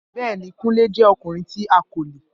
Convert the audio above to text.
Bẹẹni, Kunle jẹ ọkunrin ti akole.